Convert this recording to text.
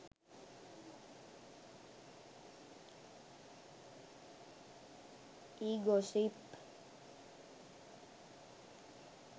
e gossip